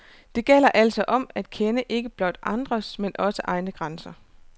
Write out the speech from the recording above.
Det gælder altså om at kende ikke blot andres, men også egne grænser.